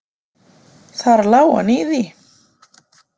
Þar lá hann í því!